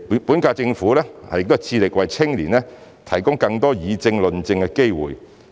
本屆政府致力為青年提供更多議政、論政的機會。